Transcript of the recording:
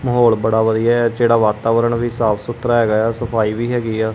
ਮਾਹੌਲ ਬੜਾ ਵਧੀਆ ਹੈ ਜਿਹੜਾ ਵਾਤਾਵਰਣ ਵੀ ਸਾਫ਼ ਸੁਥਰਾ ਹੈਗਾ ਏ ਆ ਸੁਫ਼ਾਈ ਵੀ ਹੈਗੀ ਆ।